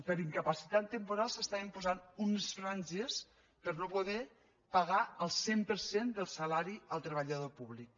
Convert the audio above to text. per incapacitat temporal s’estaven posant unes franges per no poder pagar el cent per cent del salari al treballador públic